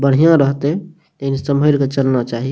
बढ़िया रहते एने संभल के चलना चाही।